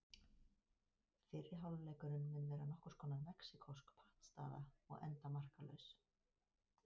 Fyrri hálfleikurinn mun vera nokkurs konar mexíkósk pattstaða og enda markalaus.